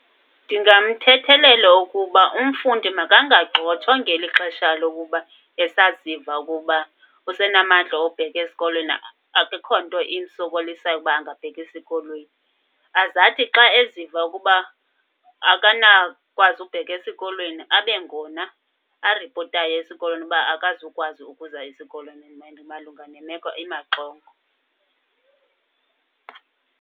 Ndingamthethelela ukuba umfundi makangagxothwa ngeli xesha lokuba esaziva ukuba usenamandla obheka esikolweni akukho nto imsokolisayo ukuba angabheka esikolweni. Azathi xa eziva ukuba akanakukwazi ubheka esikolweni, abengona aripotayo esikolweni uba akazukwazi ukuza esikolweni malunga nemeko imaxongo.